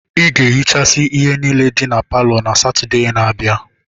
Ị ga-ehichasị ihe niile dị na palọ na Satọde na-abịa!